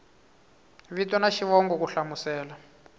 vito na xivongo ku hlamusela